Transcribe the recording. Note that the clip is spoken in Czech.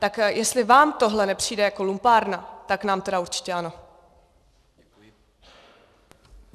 Tak jestli vám tohle nepřijde jako lumpárna, tak nám tedy určitě ano.